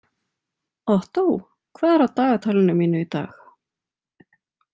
Ottó, hvað er á dagatalinu mín í dag?